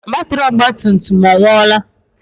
Batiri ọgba tum tum ọ nwuola?